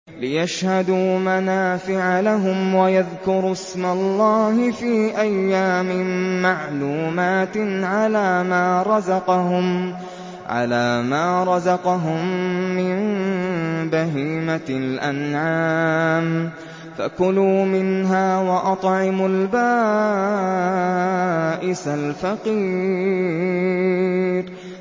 لِّيَشْهَدُوا مَنَافِعَ لَهُمْ وَيَذْكُرُوا اسْمَ اللَّهِ فِي أَيَّامٍ مَّعْلُومَاتٍ عَلَىٰ مَا رَزَقَهُم مِّن بَهِيمَةِ الْأَنْعَامِ ۖ فَكُلُوا مِنْهَا وَأَطْعِمُوا الْبَائِسَ الْفَقِيرَ